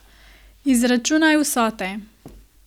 Izračunaj vsote.